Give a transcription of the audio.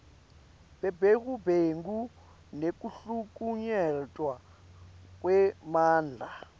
bebugebengu nekuhlukunyetwa kwemandla